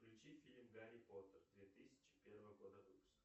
включи фильм гарри поттер две тысячи первого года выпуска